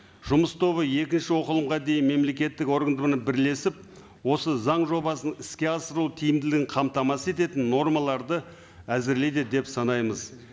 жұмыс тобы екінші оқылымға дейін мемлекеттік бірлесіп осы заң жобасын іске асыру тиімділігін қамтамасыз ететін нормаларды әзірлейді деп санаймыз